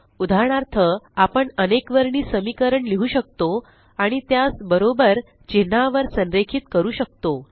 उदाहरणार्थ आपण अनेकवर्णी समीकरण लिहु शकतो आणि त्यास बरोबर चिन्हावर संरेखित करू शकतो